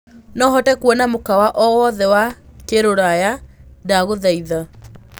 no hote kũona mũkawa o wothe wa kiruraya ndagũthaĩtha